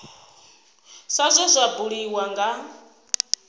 sa zwe zwa buliwa nga